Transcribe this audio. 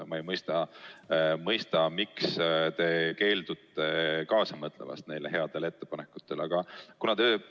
Ma ei mõista, miks te keeldute nende heade ettepanekutega kaasa mõtlemast.